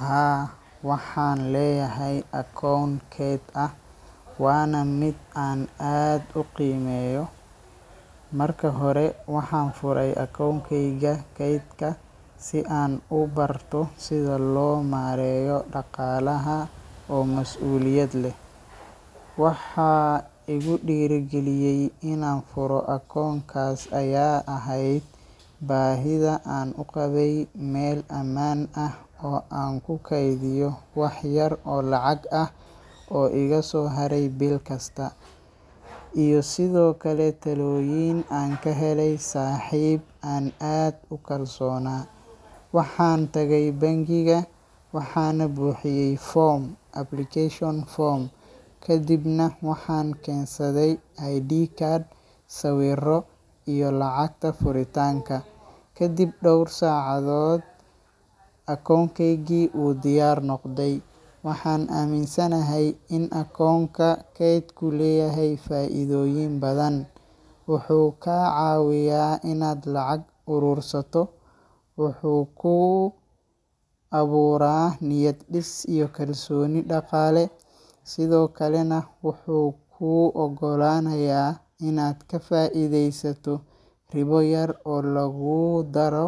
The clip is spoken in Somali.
Haa waxan leyahay akoon kayd ah, Wana mid an aad u qeymeyo. Marki hora waxan furay akoon keyga kaydka si an u barto sidhi lomareyo daqalaha oo mas uliyad leh. Waxa igudiri giliyay inan fura akoonkas aya ehed bahidha an uqabay Mel amaan ah oo an ku kaydiya wax yar oo lacag ah oo igaso haray bilkasta, iyo sidhokaleto taloyin an kahelay saxip an aad ukalsona. Waxan tagay bankiga waxana buxiyay form application form kadibna waxan kensadhay i.d card sawiro iyo lacagta furitanka, kadib dowr sacadhod akoon keygi wu diyar noqdi. waxan aminsanahay in akoonka kayd u leyahay faidhoyin bathan, wuxu kacawiya inad lacag urursato, wuxu kuu abura niyad dis iyo kalsoni daqale sidhokale na wuxu ku ogalanaya inad kafaidheysato ribo yar oo laguu dara